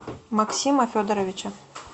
максима федоровича